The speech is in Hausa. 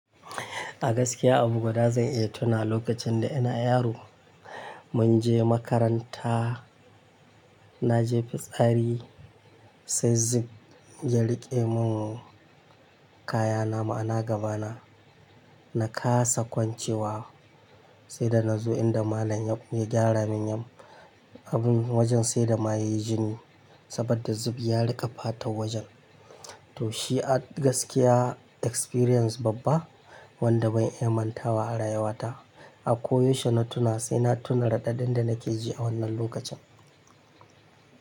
A gaskiya abu guda zan iya tuna wa lokacin da ina yaro, mun je makaranta na je fitsari sai zub ya riƙe mun kaya na ma ana gabana. Na kasa kwancewa sai da na zo inda malam ya gyara mun yam abun wajen sai da ma yayi jini saboda zub ya riƙe fata wajen. To shi a gaskiya experience babba wanda ban iya mantawa a rayuwa ta. Ako yaushe na tuna sai na tuna raɗaɗin da nakeji a wannan lokacin.